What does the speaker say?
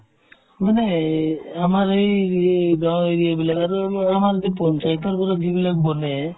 মানে সেই আমাৰ সেই এই গাওঁ area এইবিলাক অলপমানকে পঞ্চায়তৰ ওপৰত যিবিলাক বনে